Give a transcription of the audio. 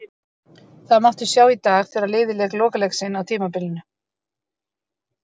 Það mátti sjá í dag þegar liðið lék lokaleik sinn á tímabilinu.